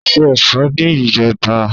O ṣé ẹ̀fọ́ ní ìjẹta.